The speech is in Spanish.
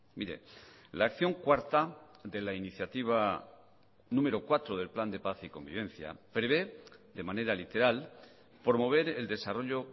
mire la acción cuarta de la iniciativa número cuatro del plan de paz y convivencia prevé de manera literal promover el desarrollo